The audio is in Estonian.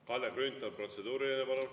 Kalle Grünthal, protseduuriline palun.